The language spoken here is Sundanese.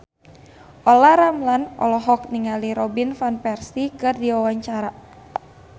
Olla Ramlan olohok ningali Robin Van Persie keur diwawancara